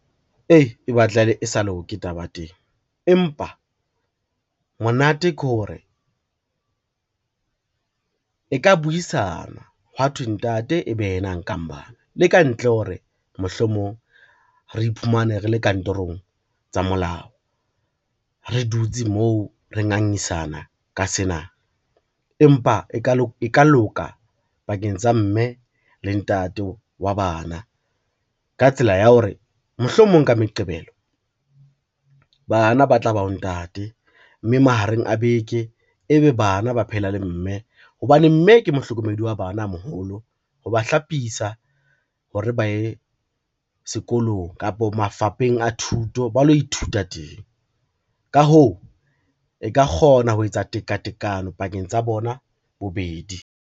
Eeh e batla e sa loke taba teng, empa monate ke hore, e ka buisanwa hwa thwe ntate e be yena a nkang bana le kantle ho re mohlomong re iphumane re le kantorong tsa molao re dutse moo re ngangisana ka sena empa e ka loka pakeng tsa mme le ntate wa bana. Ka tsela ya hore, mohlomong ka Meqebelo bana ba tla ba ho ntate, mme mahareng a beke e be bana ba phehela le mme hobane mme ke mohlokomedi wa bana a moholo ha ba hlapisa hore ba ye sekolong kapa mafapheng a thuto ba lo ithuta teng. Ka hoo, e ka kgona ho etsa tekatekano pakeng tsa bona bobedi.